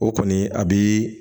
O kɔni a bi